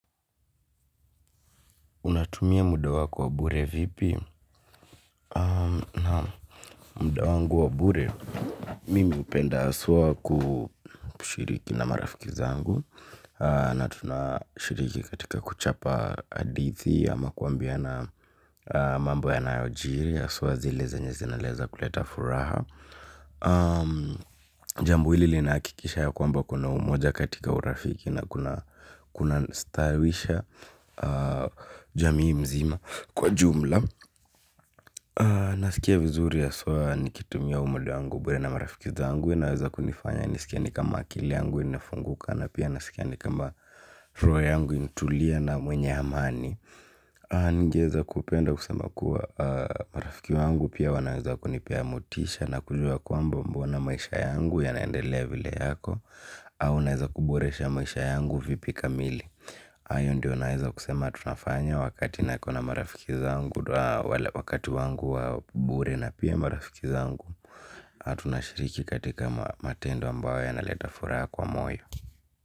Unatumia muda wako wa bure vipi? Naam, muda wangu wa bure. Mimi upenda haswa kushiriki na marafiki zangu. Na tunashiriki katika kuchapa hadithi ama kuambiana mambo yanayojiri. Haswa zile zenye zinaweza kuleta furaha. Jambo hili linahakikisha ya kwamba kuna umoja katika urafiki na kuna stawisha. Jamii mzima kwa jumla. Nasikia vizuri haswa nikitumia muda wangu bure na marafiki zangu. Inaweza kunifanya nisikie ni kama akili yangu inafunguka na pia naskia ni kama roho yangu intulia na mwenye hamani. Ningeeza kupenda kusema kuwa marafiki wangu pia wanaweza kunipea motisha. Na kujua kwamba mbona maisha yangu ya naendelea vile yako. Au naweza kuboresha maisha yangu. Vipi kamili ayo ndio naeza kusema tunafanya wakati nakona marafiki zangu wakati wangu wa bure na pia marafiki zangu tunashiriki katika matendo ambayo ya naleta furaha kwa moyo.